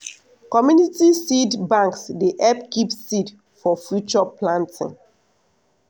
community seed banks dey help keep seed for future planting.